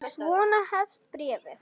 Svona hefst bréfið